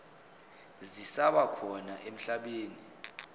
zisaba khona emhlabeni